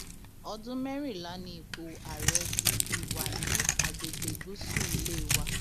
ọdún mẹrìnlá ni ipò ààrẹ ti fi wà ní àgbègbè gúúsù ilé wa